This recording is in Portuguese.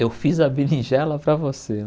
Eu fiz a berinjela para você.